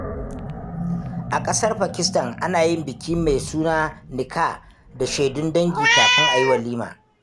A ƙasar Pakistan, ana yin bikin mai suna Nikah da shaidun dangi kafin a yi walima.